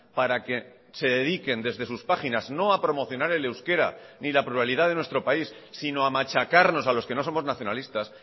para que se dediquen desde sus páginas no ha promocionar el euskera ni la pluralidad de nuestro país sino a machacarnos a los que no somos nacionalistas